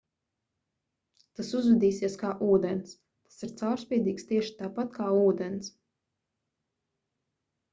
tas uzvedīsies kā ūdens tas ir caurspīdīgs tieši tāpat kā ūdens